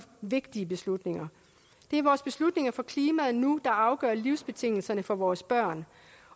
vigtige beslutninger det er vores beslutninger for klimaet nu der afgør livsbetingelserne for vores børn